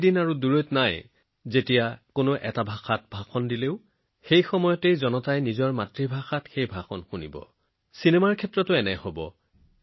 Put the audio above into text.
সেই দিনটো বেছি দূৰত নহয় যেতিয়া কোনো এটা ভাষাত এটা ঠিকনা প্ৰদান কৰা হব আৰু সমবেতে ৰাইজে নিজৰ ভাষাত সঠিক সময়ত শুনিব পাৰিব